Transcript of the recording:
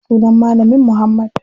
Sunan malamin muhammad.